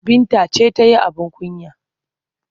Binta ce ta yi abin kunya.